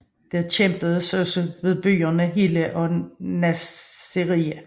Der kæmpedes også ved byerne Hilla og Nassiriya